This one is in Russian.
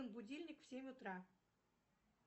будильник в семь утра